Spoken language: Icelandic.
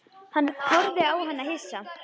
Hann horfði á hana hissa.